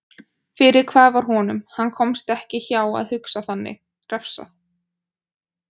Fyrir hvað var honum- hann komst ekki hjá að hugsa þannig- refsað?